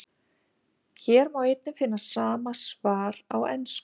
Hér má einnig finna sama svar á ensku.